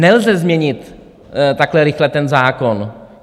Nelze změnit takhle rychle ten zákon.